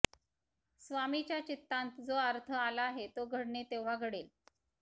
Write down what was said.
स्वामीच्या चित्तांत जो अर्थ आला आहे तो घडणें तेव्हां घडेल